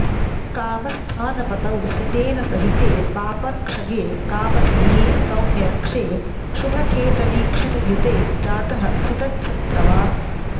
कामस्थानपतौ सितेन सहिते पापर्क्षगे कामधीः सौम्यर्क्षे शुभखेटवीक्षितयुते जातः सितच्छत्रवान्